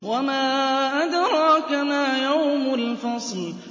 وَمَا أَدْرَاكَ مَا يَوْمُ الْفَصْلِ